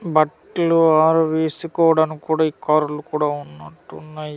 బట్లు ఆరువేసుకోవడానికి కూడా ఈ కర్రలు కూడా ఉన్నట్టున్నాయి.